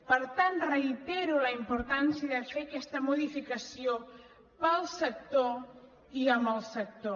per tant reitero la importància de fer aquesta modificació per al sector i amb el sector